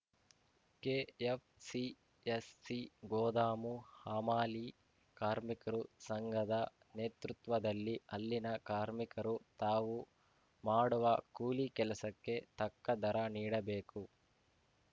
KFCSC ಗೋದಾಮು ಹಮಾಲಿ ಕಾರ್ಮಿಕರು ಸಂಘದ ನೇತೃತ್ವದಲ್ಲಿ ಅಲ್ಲಿನ ಕಾರ್ಮಿಕರು ತಾವು ಮಾಡುವ ಕೂಲಿ ಕೆಲಸಕ್ಕೆ ತಕ್ಕ ದರ ನೀಡಬೇಕು